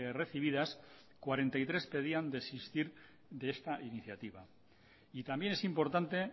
recibidas cuarenta y tres pedían desistir de esta iniciativa y también es importante